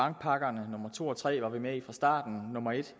bankpakkerne nummer to og nummer tre var vi med i fra starten nummer et